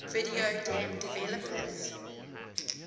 video game developers